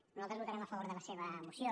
nosaltres votarem a favor de la seva moció